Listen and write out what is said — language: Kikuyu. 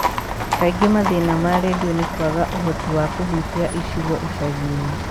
Kaingĩ mathĩna ma redio nĩ kwaga ũhoti wa kũhutia icigo icagi-inĩ.